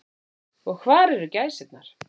Og hvar væru gæsirnar.